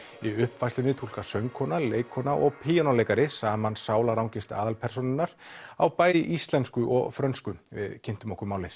í uppfærslunni túlka söngkona leikkona og píanóleikari saman sálarangist aðalpersónunnar á bæði íslensku og frönsku við kynntum okkur málið